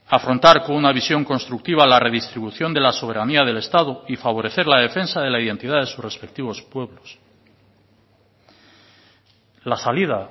afrontar con una visión constructiva la redistribución de la soberanía del estado y favorecer la defensa de la identidad de sus respectivos pueblos la salida